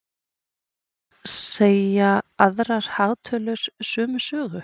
En segja aðrar hagtölur sömu sögu?